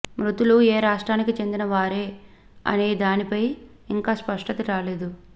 మృతులు ఏ రాష్ట్రానికి చెందిన వారే అనే దానిపై ఇంకా స్పష్టత రాలేదు